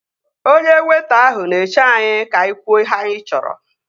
Onye weịta ahụ na-eche anyị ka anyị kwuo ihe anyị chọrọ